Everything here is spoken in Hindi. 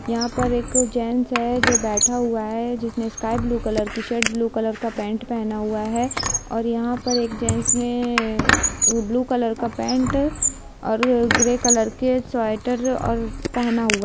यहां पर एक जेंट्स है जो बैठा हुआ है जिसने स्काई ब्लू कलर की शर्ट और ब्लू कलर का पेंट पहना हुआ है और यहां पर एक जेंट्स ने ब्लू कलर का पेंट ग्रे कलर के स्वेटर और पहना हुआ है।